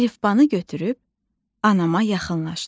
Əlifbanı götürüb anama yaxınlaşdım.